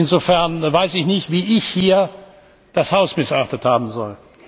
Insofern weiß ich nicht, wie ich hier das Haus missachtet haben soll.